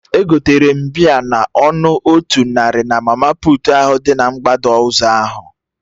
Egotere m bịa na ọnụ otu narị na mama puutu ahụ dị na mgbada ụzọ ahụ